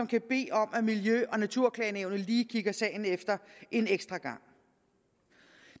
kan bede om at miljø og naturklagenævnet lige kigger sagen efter en ekstra gang